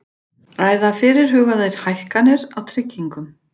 Ræða fyrirhugaðar hækkanir á tryggingum